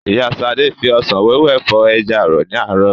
Ìyá Ṣadé fi òsán wẹ́wẹ́ fọ̀ ẹja ààrọ̀ ní àárọ̀